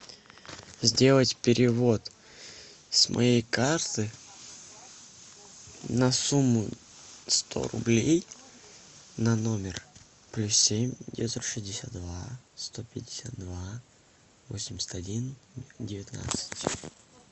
сделать перевод с моей карты на сумму сто рублей на номер плюс семь девятьсот шестьдесят два сто пятьдесят два восемьдесят один девятнадцать